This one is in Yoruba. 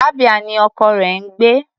Abia ni ọkọ rẹ̀ ń gbé.